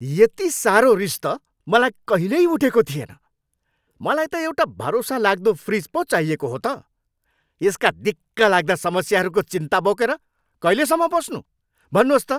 यति साह्रो रिस त मलाई कहिल्यै उठेको थिएन। मलाई त एउटा भरोसालाग्दो फ्रिज पो चाहिएको हो त। यसका दिक्कलाग्दा समस्याहरूको चिन्ता बोकेर कहिलेसम्म बस्नू? भन्नुहोस् त!